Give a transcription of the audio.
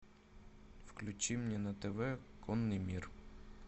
включи мне на тв конный мир